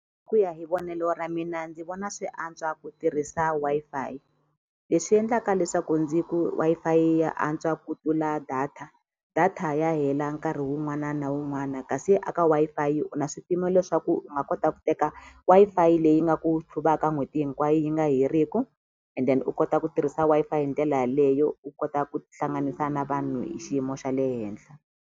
Ku ya hi vonelo ra mina ndzi vona swi antswa ku tirhisa Wi-Fi leswi endlaka leswaku ndzi ku Wi-Fi ya antswa ku tlula data data ya hela nkarhi wun'wana na wun'wana kasi a ka Wi-Fi u na swipimelo swa ku u nga kota ku teka Wi-Fi leyi nga ku tlhuvaka n'hweti hinkwayo yi nga heriku and then u kota ku tirhisa Wi-Fi hi ndlela yaleyo u kota ku tihlanganisa na vanhu hi xiyimo xa le henhla.